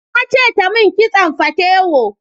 Na ce ta mun kitson fatewo